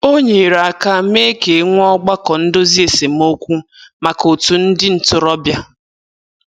O nyere aka mee ka e nwee ọgbakọ ndozi esemokwu maka otu ndị ntorobịa.